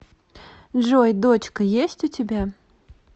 джой дочка есть у тебя